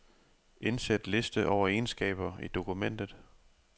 Indsæt liste over egenskaber i dokumentet.